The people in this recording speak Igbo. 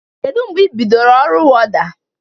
Kedụ mbge ị bidoro ọru wọda?